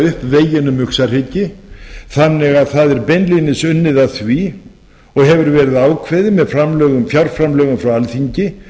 upp veginn um uxahryggi þannig að það er beinlínis unnið að því og hefur verið ákveðið með fjárframlögum frá alþingi